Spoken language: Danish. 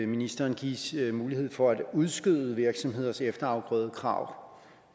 ministeren gives mulighed for at udskyde virksomheders efterafgrødekrav